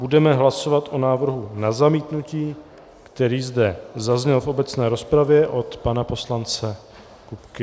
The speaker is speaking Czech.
Budeme hlasovat o návrhu na zamítnutí, který zde zazněl v obecné rozpravě od pana poslance Kupky.